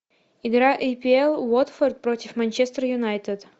игра апл уотфорд против манчестер юнайтед